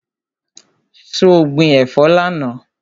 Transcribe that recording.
So gbin ẹ̀fọ́ lánàá?